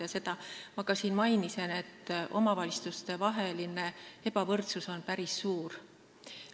Ma siin ka mainisin, et omavalitsuste ebavõrdsus on päris suur.